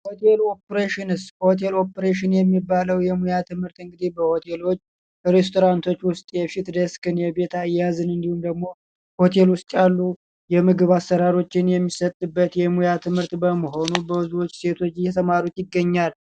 ሆቴል ኦፕሬሽንስ ሆቴል ኦፕሬሽን የሚባለው የሙያ ትምህርት እንግዲህ በሆቴሎች፣ ሬስቶራንቶች ውስጥ የፊት ዴስክን የቤት አያያዝን እንዲሁም ደግሞ፤ ሆቴል ውስጥ ያሉ የምግብ አሰራሮችን የሚሰጥበት የሙያ ትምህርት በመሆኑ ብዙዎች ሴቶች እየተማሩት ይገኛሉ።